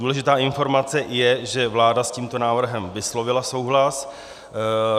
Důležitá informace je, že vláda s tímto návrhem vyslovila souhlas.